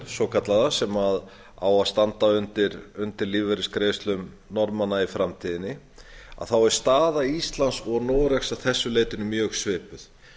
svokallaða sem á að standa undir lífeyrisgreiðslum norðmanna í framtíðinni er staða íslands og noregs að þessu leytinu mjög svipuð